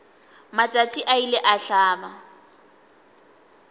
matšatši a ile a hlaba